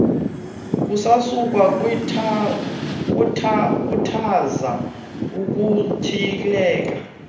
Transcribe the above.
kusasukwa khuthaza ukutyhileka